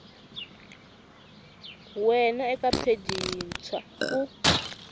wana eka pheji yintshwa u